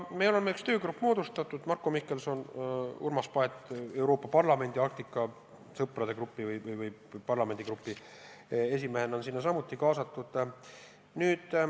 Me oleme ühe töögrupi moodustanud, Marko Mihkelson ja Urmas Paet Euroopa Parlamendi Arktika sõprade parlamendigrupi esimehena on sinna samuti kaasatud.